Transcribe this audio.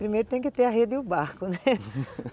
Primeiro tem que ter a rede e o barco, né?